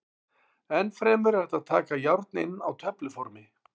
Enn fremur er hægt að taka járn inn á töfluformi.